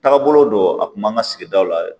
Taabolo don a kun b'an ka sigidaw la yɛrɛ